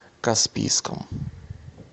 каспийском